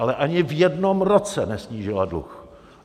Ale ani v jednom roce nesnížila dluh.